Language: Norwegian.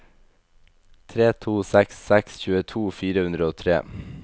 tre to seks seks tjueto fire hundre og tre